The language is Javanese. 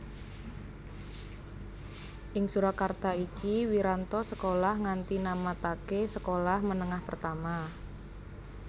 Ing Surakarta iki Wiranto sekolah nganti namataké Sekolah Menengah Pertama